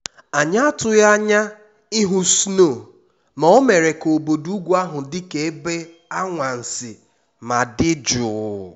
anyị atụghị anya ịhụ snow ma o mere ka obodo ugwu ahụ dị ka ebe anwansị ma dị jụụ